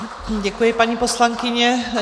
Děkuji, paní poslankyně.